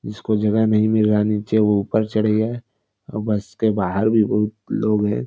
जिसको जगह नहीं मिल रहा नीचे वो ऊपर चढ़ गया है अ बस के बाहर भी बहुत लोग है।